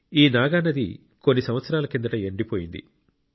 ఈ నాగా నది కొన్ని సంవత్సరాల కిందట ఎండిపోయింది